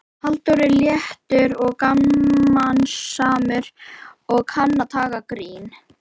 Halldór er léttur og gamansamur og kann að taka gríni.